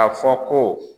A fɔ ko